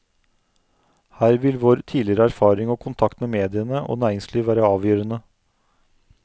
Her vil vår tidligere erfaring og kontakt med mediene og næringsliv være avgjørende.